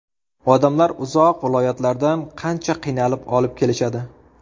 Odamlar uzoq viloyatlardan qancha qiynalib olib kelishadi.